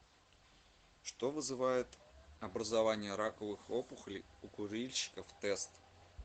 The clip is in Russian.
что вызывает образование раковых опухолей у курильщиков тест